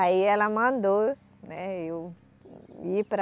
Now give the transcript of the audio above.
Aí ela mandou né eu ir para...